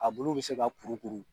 A bolo bi se ka kurukuru